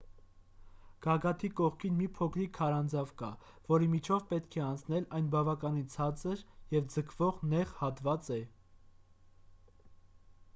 գագաթի կողքին մի փոքրիկ քարանձավ կա որի միջով պետք է անցնել այն բավականին ցածր և ձգվող նեղ հատված է